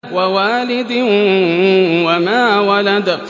وَوَالِدٍ وَمَا وَلَدَ